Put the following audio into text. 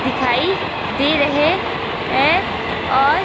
दिखाई दे रहे हैं और--